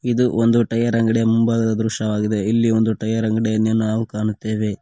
ಇದು ಒಂದು ಟೈಯರ್ ಅಂಗಡಿ ಮುಂಭಾಗದ ದೃಶ್ಯವಾಗಿದೆ ಇಲ್ಲಿ ಒಂದು ಟೈಯರ್ ಅಂಗಡಿ ಅನ್ನೇ ನಾವು ಕಾಣುತ್ತೇವೆ.